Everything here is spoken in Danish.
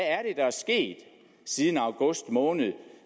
er sket siden august måned